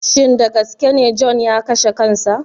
Shin dagaskene john ya kashe kansa.